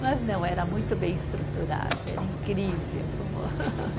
Mas não, era muito bem estruturado, era incrível, como